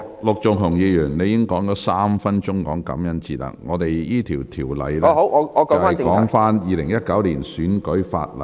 陸議員，你已經用了3分鐘談論感恩節，但這項辯論的議題是《2019年選舉法例條例草案》。